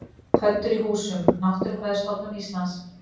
Pöddur í húsum: Náttúrufræðistofnun Íslands.